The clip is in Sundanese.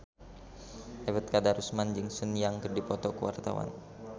Ebet Kadarusman jeung Sun Yang keur dipoto ku wartawan